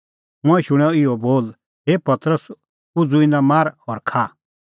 मंऐं शूणअ इहअ बोल हे पतरस उझ़ू इना मार और खा